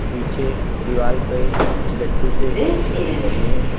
पीछे दीवाल पे लट्टू से कुछ रखे हुए हैं।